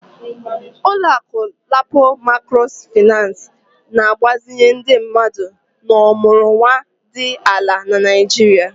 Ụlọ akụ LAPO Maịkrofịnancị na-agbazinye ndị mmadụ na ọmụrụnwa dị ala na Nigeria